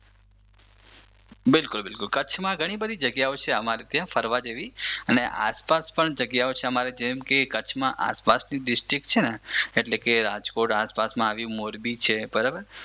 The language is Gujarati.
બિલકુલ બિલકુલ કચ્છમાં ઘણી બધી જગ્યાઓ છે અમારે ત્યાં ફરવા જેવી. અને આસપાસ પણ જગ્યાઓ છે અમારે ત્યાં જેમ કે કચ્છમાં આસપાસની ડિસ્ટ્રિક છે ને એટલે કે રાજકોટમાં આવેલી મોરબી છે બરાબર